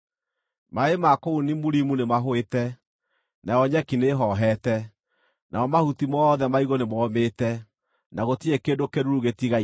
Maaĩ ma kũu Nimurimu nĩmahũĩte, nayo nyeki nĩĩhoohete; namo mahuti mothe maigũ nĩmomĩte, na gũtirĩ kĩndũ kĩĩruru gĩtigaire.